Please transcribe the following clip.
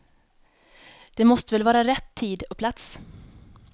Det måste väl vara rätt tid och plats.